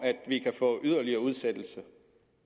yderligere udsættelse